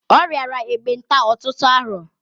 Ọ riara ekpenta ọtụtụ arọ.